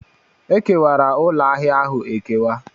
Ekewara ụlọ ahịa ahụ ekewa.